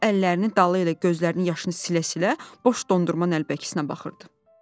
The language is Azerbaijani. O, əllərini dalı ilə gözlərinin yaşını silə-silə boş dondurma nəlbəkisinə baxırdı.